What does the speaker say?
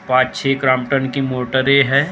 पांच छे क्राम्पटन की मोटरे है।